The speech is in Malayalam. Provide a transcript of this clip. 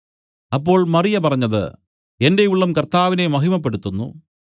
അപ്പോൾ മറിയ പറഞ്ഞത് എന്റെ ഉള്ളം കർത്താവിനെ മഹിമപ്പെടുത്തുന്നു